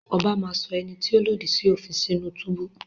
Ọbá máa sọ ẹni tí ó lòdì sí òfin sínú túbú.